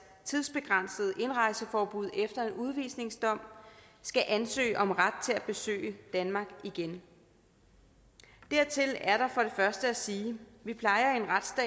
tidsbegrænsede indrejseforbud efter en udvisningsdom skal ansøge om ret til at besøge danmark igen dertil er der for det første at sige